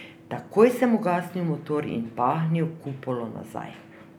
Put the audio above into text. Takoj sem ugasnil motor in pahnil kupolo nazaj.